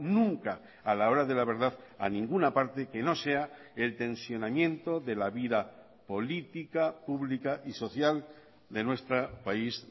nunca a la hora de la verdad a ninguna parte que no sea el tensionamiento de la vida política pública y social de nuestro país